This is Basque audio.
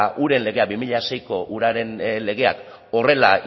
legeak bi mila seiko uraren legeak horrela